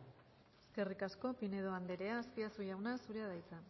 eskerrik asko pinedo andrea azpiazu jauna zurea da hitza